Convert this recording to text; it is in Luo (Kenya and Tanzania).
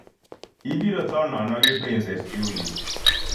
Ibiro tho nono gi Pincess Jully